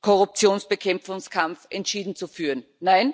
Korruptionsbekämpfung entschieden zu betreiben.